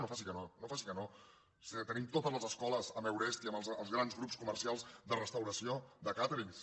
no faci que no no faci que no si tenim totes les escoles amb eurest i amb els grans grups comercials de restauració de càterings